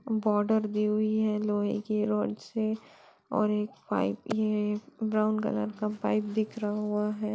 Border दी हुई हैं लोहे की रोड से और एक पाइप भी है ब्राउन कलर का पाइप भी बिखरा हुआ हैं।